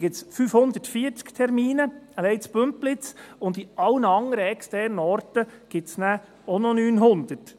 Es gibt 540 Termine, alleine in Bümpliz, und an allen externen Orten gibt es auch noch 900.